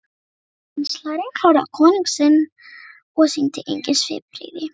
Kanslarinn horfði á konung sinn og sýndi engin svipbrigði.